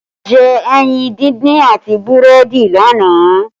A jẹ ẹyin díndín àti búrẹ́dì lánàá